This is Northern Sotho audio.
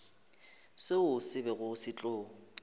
seo se bego se tlo